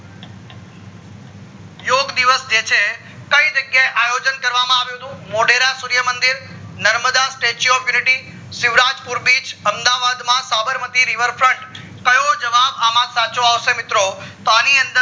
યોગ દિવસ જે છે કાય જગ્યાએ આયોજન કરવામાં આવ્યું હતું મોઢેરા સૂર્ય મંદિર, Narmada statue of unity, Shivrajpur beach, Ahmedabad માં સબર્માઈ river front કયો જવાબ અમ સાચો આવશે મિત્રો તો અણી અંદર